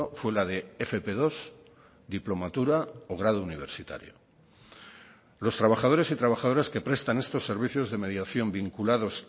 fue la de efe pe dos diplomatura o grado universitario los trabajadores y trabajadoras que prestan estos servicios de mediación vinculados